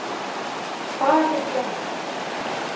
Fagurgerði